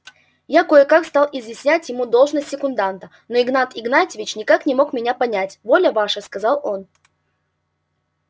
я кое-как стал изъяснять ему должность секунданта но иван игнатьич никак не мог меня понять воля ваша сказал он